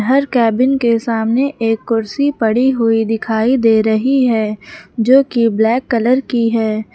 हर cabin के सामने एक कुर्सी पड़ी हुई दिखाई दे रही है जो कि ब्लैक कलर की है।